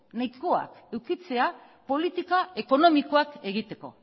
nahikoak edukitzea politika ekonomikoak egiteko